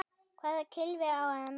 Hvaða kylfu á að nota?